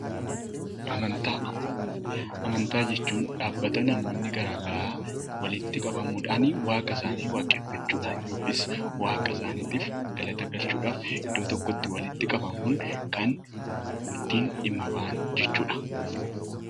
Amantaa jechuun dhaabbata namoonni garaagaraa walitti qabamuudhaan waaqa isaanii waaqeffachuudhaan yookiin waaqa isaaniif galata galchuudhaaf kan ittiin dhimma bahan jechuudha.